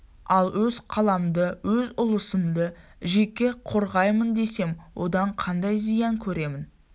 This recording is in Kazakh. ал өз қаламды өз ұлысымды жеке қорғаймын десем одан қандай зиян көремін